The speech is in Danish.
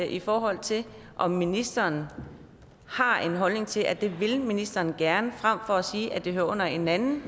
i forhold til om ministeren har en holdning til at det vil ministeren gerne frem for at sige at det hører under en anden